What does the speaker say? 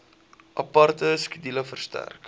aparte skedule verstrek